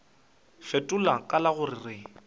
fetola ka la go re